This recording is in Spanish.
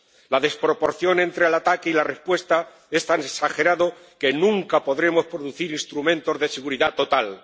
La desproporción entre el ataque y la respuesta es tan exagerada que nunca podremos producir instrumentos de seguridad total.